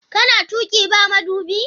Kana tuƙi ba madubi?